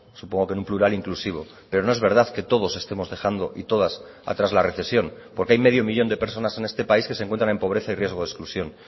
supongo que en un plural inclusivo pero no es verdad que todos estemos dejando y todas atrás la recesión porque hay medio millón de personas en este país que se encuentran en pobreza y riesgo de exclusión